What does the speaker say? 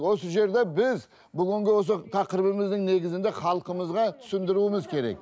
осы жерде біз бүгінгі осы тақырыбымыздың негізінде халқымызға түсіндіруіміз керек